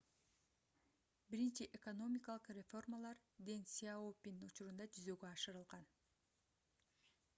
биринчи экономикалык реформалар дэн сяопин учурунда жүзөгө ашырылган